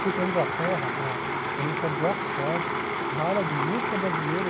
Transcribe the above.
Fui para a Inglaterra, para a Universidade de Oxford, dar aula de música brasileira.